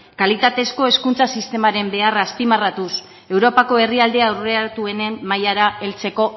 kalitatezko hezkuntza sistemaren beharra azpimarratuz europako herrialde aurreratuenen mailara heltzeko